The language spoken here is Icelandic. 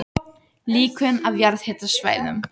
Líkön af jarðhitasvæðum